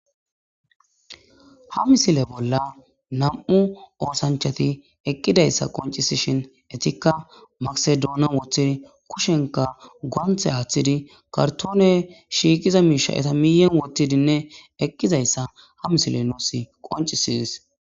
Ha misile bolla nam'u osanchat eqidaysa qoncisishn etika maske dunan wothid gonte athid kartone shiqiza misha eta miyen wotidinne eqidaysa misiley nus qoncises.